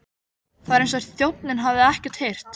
Það var eins og þjónninn hefði ekkert heyrt.